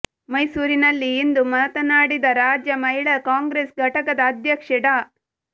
ಮೈಸೂರಿನಲ್ಲಿ ಇಂದು ಮಾತನಾಡಿದ ರಾಜ್ಯ ಮಹಿಳಾ ಕಾಂಗ್ರೆಸ್ ಘಟಕದ ಅಧ್ಯಕ್ಷೆ ಡಾ